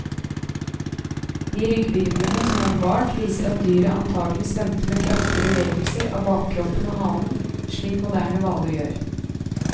De rygghvirvlene som er bevart, viser at dyret antagelig svømte med kraftige bevegelser av bakkroppen og halen, slik moderne hvaler gjør.